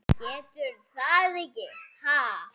Geturðu það ekki, ha?